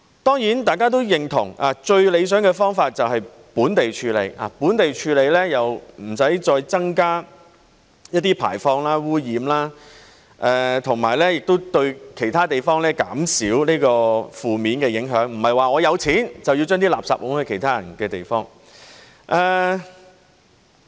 當然，大家都認同，最理想的方法就是本地處理，本地處理無須再增加排放和污染，亦對其他地方減少負面影響，不是有錢便可將垃圾推到其他人的地方。